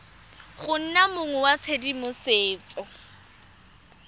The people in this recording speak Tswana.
go nna mong wa tshedimosetso